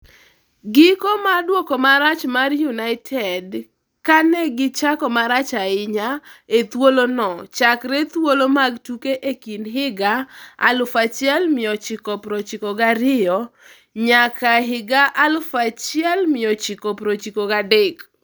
Giko mar duoko marach mar United kane gi chako marach ahinya e thuolo no chakre thuolo mag tuke e kind higa 1992-93.